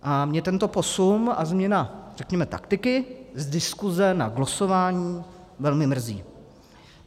A mě tento posun a změna taktiky z diskuse na glosování velmi mrzí.